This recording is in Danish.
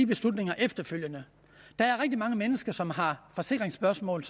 beslutningerne efterfølgende der er rigtig mange mennesker som har forsikringsspørgsmål